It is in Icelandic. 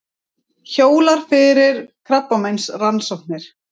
Hjólar fyrir krabbameinsrannsóknir